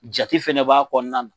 Jate fɛnɛ b'a kɔnɔna na.